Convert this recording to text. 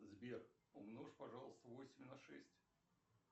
сбер умножь пожалуйста восемь на шесть